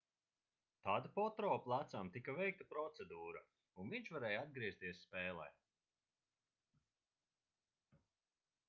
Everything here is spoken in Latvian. tad potro plecam tika veikta procedūra un viņš varēja atgriezties spēlē